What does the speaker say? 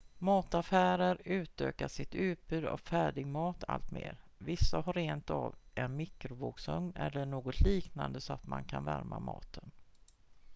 mataffärer utökar sitt utbud av färdigmat allt mer vissa har rentav en mikrovågsugn eller något liknande så att man kan värma maten